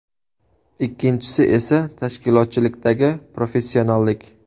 Ikkinchisi esa tashkilotchilikdagi professionallik.